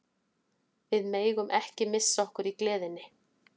Við megum ekki missa okkur í gleðinni.